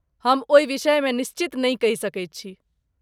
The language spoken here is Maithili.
हम ओहि विषयमे निश्चित नहि कहि सकैत छी।